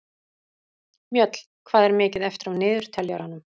Mjöll, hvað er mikið eftir af niðurteljaranum?